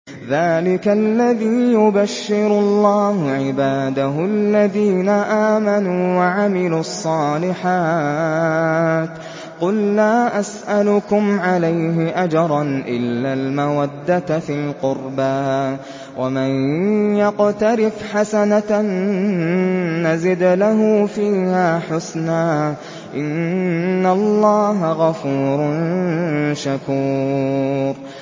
ذَٰلِكَ الَّذِي يُبَشِّرُ اللَّهُ عِبَادَهُ الَّذِينَ آمَنُوا وَعَمِلُوا الصَّالِحَاتِ ۗ قُل لَّا أَسْأَلُكُمْ عَلَيْهِ أَجْرًا إِلَّا الْمَوَدَّةَ فِي الْقُرْبَىٰ ۗ وَمَن يَقْتَرِفْ حَسَنَةً نَّزِدْ لَهُ فِيهَا حُسْنًا ۚ إِنَّ اللَّهَ غَفُورٌ شَكُورٌ